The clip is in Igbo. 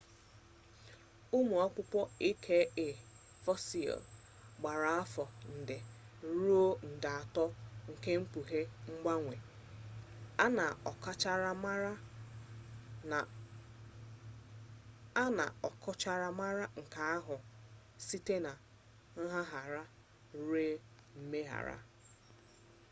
ụmụ ọkpụkpọ aka fosil gbara afọ nde abuo rue nde ato na-ekpughe ngbanwe a na ọkachamara nke aka ahụ site na ngagharị rue mmegharị